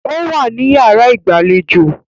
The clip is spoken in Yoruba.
Ó wá ní yàrá ìgbẹ́jọ́